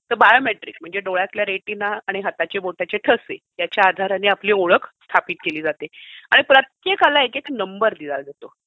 Biometrics म्हणजे म्हणजे डोळ्यांतला रेटिना आणि हाताच्या बोटांचे ठसे याच्या आधाराने आपली ओळख स्थापित केली जाते आणि प्रत्येकाला एक एक नंबर दिला जातो.